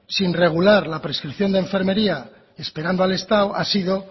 sin regular la prescripción de enfermería esperando al estado ha sido